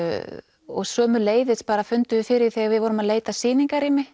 og sömuleiðis fundum við fyrir þegar við vorum að leita að sýningarrými